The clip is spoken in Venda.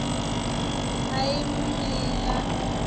i a mu nela o